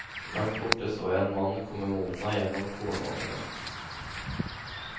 Langt borte så jeg en mann komme mot meg gjennom kornåkrene.